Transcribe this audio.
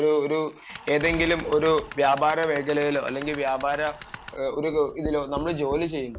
ഒരു ഏതെങ്കിലും ഒരു വ്യാപാരമേഖലയിലോ അല്ലെങ്കിൽ വ്യാപാര ഒരു ഇതിലോ ജോലി ചെയ്യുകയാണ്